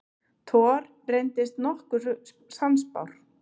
Thor reyndist að nokkru sannspár.